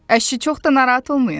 Əşi, çox da narahat olmayın.